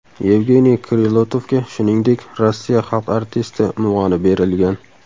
Yevgeniy Krilatovga, shuningdek, Rossiya xalq artisti unvoni berilgan.